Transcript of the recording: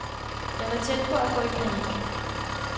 Jeg var tæt på at gå i panik.